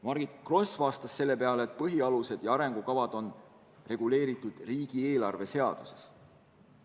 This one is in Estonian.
Margit Gross vastas selle peale, et põhialuste ja arengukavade regulatsioon on riigieelarve seaduses.